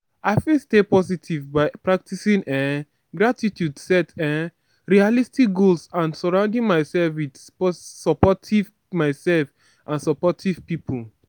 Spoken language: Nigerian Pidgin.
i fit stay positive by practicing um gratitude set um realistic goals and surrounding myself with supportive myself and supportive people.